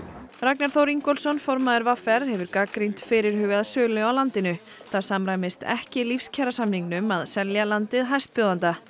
Ragnar Þór Ingólfsson formaður v r hefur gagnrýnt fyrirhugaða sölu á landinu það samræmist ekki að selja landið hæstbjóðanda